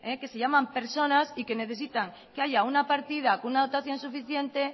que se llaman personas y que necesitan que haya una partida con una dotación suficiente